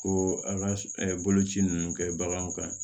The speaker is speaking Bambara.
Ko a ka boloci ninnu kɛ baganw kan